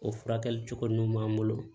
O furakɛli cogo nun b'an bolo